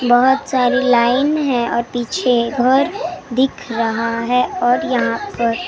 बहुत सारी लाइन है और पीछे घर दिख रहा है और यहाँ पर।